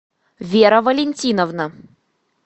вера валентиновна